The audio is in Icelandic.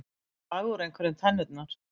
Að draga úr einhverju tennurnar